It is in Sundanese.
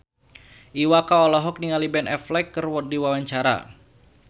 Iwa K olohok ningali Ben Affleck keur diwawancara